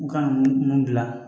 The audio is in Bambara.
U kan ka mun dilan